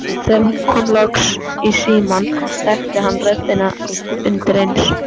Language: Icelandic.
Þegar hún kom loks í símann þekkti hann röddina undireins.